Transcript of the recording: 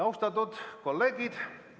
Austatud kolleegid!